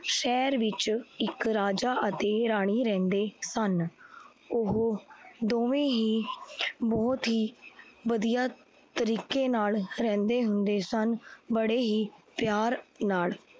ਸਹਿਰ ਵਿੱਚ ਇੱਕ ਰਾਜਾ ਅਤੇ ਰਾਣੀ ਰਹੰਦੇ ਸਨ। ਓਹੋ ਦੋਵੇਂ ਹੀ ਬਹੁਤ ਹੀ ਵਧੀਆ ਤਰੀਕੇ ਨਾਲ ਰਹੰਦੇ ਹੁੰਦੇ ਸਨ। ਬੜੇ ਹੀ ਪਿਆਰ ਨਾਲ